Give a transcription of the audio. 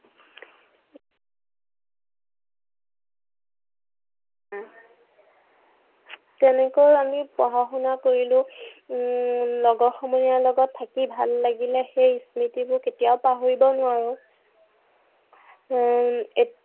উম তেনেকৈ আমি পঢ় শুনা কৰিলো। উম লগৰ সমনীয়াৰ লগত থাকি ভাল লাগিলে। সেই স্মৃতিবোৰ কেতিয়াও পাহৰিব নোৱাৰো। উম